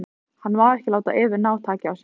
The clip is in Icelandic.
Hann má ekki láta Evu ná taki á sér.